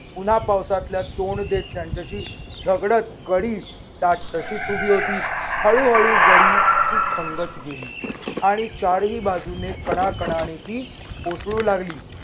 उन्हा पावसातल्या तोंड देत त्यांच्याशी झगड्त गडी ताठ तशीच उभी होती. हळूहळू गडी हि खंगत गेली आणि चारही बाजूने कणाकणाने ती कोसळू लागली.